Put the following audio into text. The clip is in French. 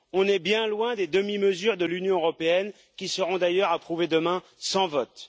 On est bien loin des demi mesures de l'Union européenne, qui seront d'ailleurs approuvées demain sans vote.